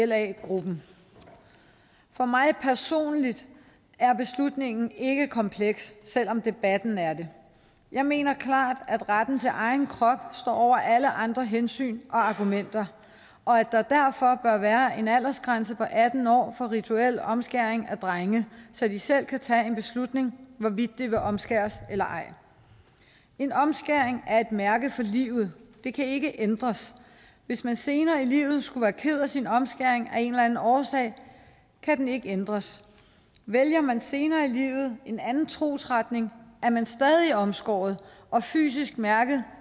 la gruppens for mig personligt er beslutningen ikke kompleks selv om debatten er det jeg mener klart at retten til egen krop står over alle andre hensyn og argumenter og at der derfor bør være en aldersgrænse på atten år for rituel omskæring af drenge så de selv kan tage en beslutning hvorvidt de vil omskæres eller ej en omskæring er et mærke for livet den kan ikke ændres hvis man senere i livet skulle være ked af sin omskæring af en eller anden årsag kan den ikke ændres vælger man senere i livet en anden trosretning er man stadig omskåret og fysisk mærket